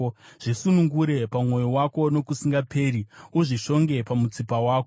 Zvisungirire pamwoyo wako nokusingaperi; uzvishonge pamutsipa wako.